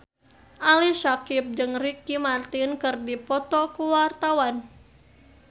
Ali Syakieb jeung Ricky Martin keur dipoto ku wartawan